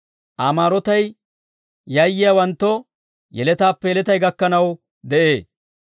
Aa maarotay yayyiyaawanttoo, yeletaappe yeletay gakkanaw de'ee.